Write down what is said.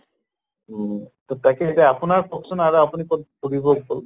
উম তʼ তাকে এতিয়া আপোনাৰ কওঁক চোন আৰু আপুনি কʼত ফুৰিব গʼল?